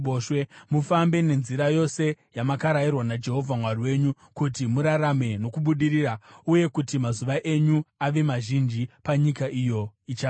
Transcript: Mufambe nenzira yose yamakarayirwa naJehovha Mwari wenyu, kuti murarame nokubudirira uye kuti mazuva enyu ave mazhinji panyika iyo ichava yenyu.